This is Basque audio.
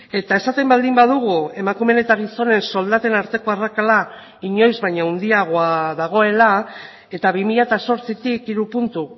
eta esaten baldin badugu emakumeen eta gizonen soldaten arteko arrakala inoiz baino handiagoa dagoela eta bi mila zortzitik hiru puntu